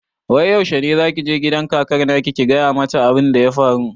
Wai yaushe ne zaki je gidan kakar naki ki gaya mata abun da ya faru?